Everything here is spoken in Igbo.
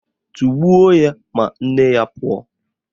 Tọgbuo ya ma nne ya pụọ!